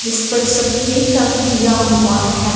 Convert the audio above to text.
जिस पर सफेद रंग किया हुआ है।